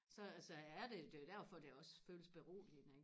så så er det det er jo derfor det også føles beroligende ikke